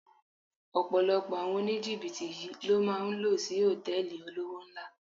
Ọ̀pọ̀lọpọ̀ àwọn oníjìbìtì yí ló máa ń lò sí Hòtẹ́lìì olówó ńlá.